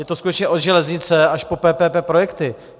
Je to skutečně od železnice až po PPP projekty.